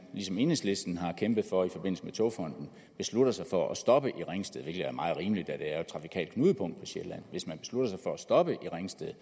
som enhedslisten har kæmpet for i forbindelse med togfonden beslutter sig for at stoppe i ringsted hvilket er meget rimeligt da det er et trafikalt knudepunkt på sjælland hvis man beslutter sig for at stoppe i ringsted